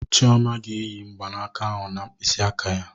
Chioma ga-eyi mgbanaka ahụ na mkpịsị aka ya